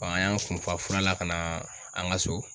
an y'an kun fa furala ka na an ka so.